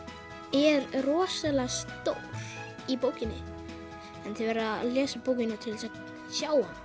er rosalega stór í bókinni en þið verðið að lesa bókina til þess að sjá